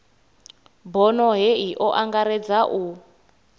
bono hei o angaredza u